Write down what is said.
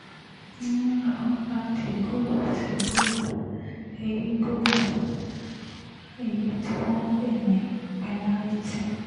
n ló bá di goli sí goli èyí goli èyí tí wọ́n ń pè ní pẹ́nàrìtì